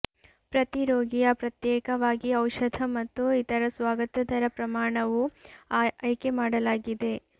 ಪ್ರತಿ ರೋಗಿಯ ಪ್ರತ್ಯೇಕವಾಗಿ ಔಷಧ ಮತ್ತು ಇದರ ಸ್ವಾಗತ ದರ ಪ್ರಮಾಣವು ಆಯ್ಕೆಮಾಡಲಾಗಿದೆ